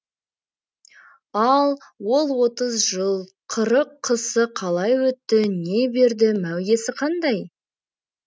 ал ол отыз жыл қырық қысы қалай өтті не берді мәуесі қандай